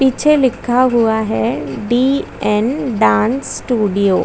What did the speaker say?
ऊपर A. C. लगी हुई है।